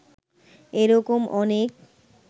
এ-রকম অনেক